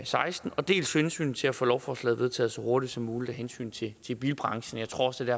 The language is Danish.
seksten dels hensynet til at få lovforslaget vedtaget så hurtigt som muligt af hensyn til bilbranchen jeg tror også det